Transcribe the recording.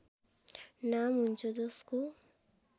नाम हुन्छ जसको